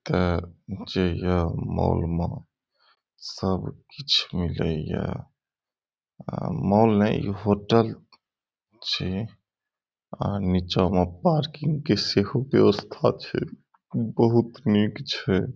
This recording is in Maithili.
एता जेई या मॉल में सब किछ मिले या मॉल ने ई होटल छी आ नीचा में पार्किंग के सेहो व्यवस्था छै बहुत निक छै ।